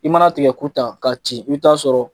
I mana tigɛ ku tan ka ci, i bi taa a sɔrɔ